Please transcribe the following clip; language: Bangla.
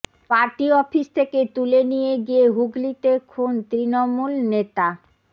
পার্টি অফিস থেকে তুলে নিয়ে গিয়ে হুগলিতে খুন তৃণমূল নেতা